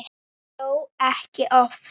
Þó ekki oft.